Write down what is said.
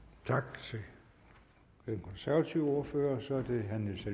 tak til den konservative ordfører så er det herre niels